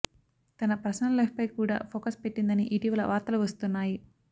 తన పర్సనల్ లైఫ్పై కూడా ఫోకస్ పెట్టిందని ఇటీవల వార్తలు వస్తున్నాయి